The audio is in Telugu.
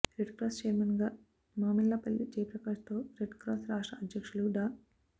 రెడ్ క్రాస్ చైర్మన్గా మామిళ్లపల్లి జయప్రకాష్ తో రెడ్ క్రాస్ రాష్ట్ర అధ్యక్షులు డా